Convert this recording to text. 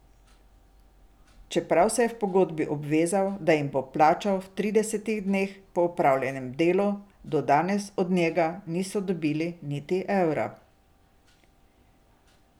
Čeprav se je v pogodbi obvezal, da jim bo plačal v tridesetih dneh po opravljenem delu, do danes od njega niso dobili niti evra.